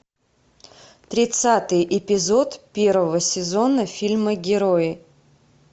тридцатый эпизод первого сезона фильма герои